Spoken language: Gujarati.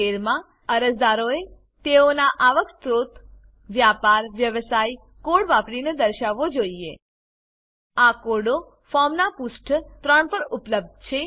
13 માં અરજદારોએ તેઓનો આવક સ્ત્રોત વ્યાપારવ્યવસાય કોડ વાપરીને દર્શાવવો જોઈએ આ કોડો ફોર્મનાં પુષ્ઠ 3 પર ઉપલબ્ધ છે